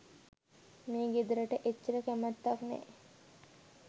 මේ ගෙදරට එච්චර කැමැත්තක් නෑ.